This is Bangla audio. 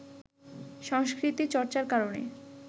সংস্কৃতি চর্চার কারণে